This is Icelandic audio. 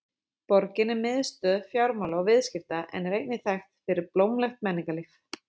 Borgin er miðstöð fjármála og viðskipta en er einnig þekkt fyrir blómlegt menningarlíf.